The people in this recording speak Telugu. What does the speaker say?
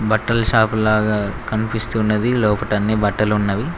బట్టల షాపు లాగా కనిపిస్తున్నది లోపట అన్ని బట్టలు ఉన్నవి.